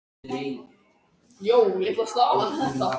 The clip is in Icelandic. Rétt utan við þéttbýlið er Straumar, bærinn hennar Hildar.